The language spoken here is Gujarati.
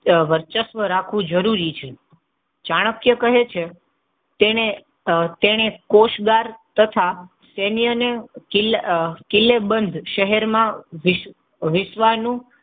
વર્ચસ્વ આ રાખવું જરૂરી છે. ચાણક્ય કહે છે તેને કોષદાર તથા કિલ્લેબંધ શહેર માં વિશ્વનુ